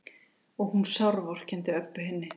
Og hún sárvorkenndi Öbbu hinni.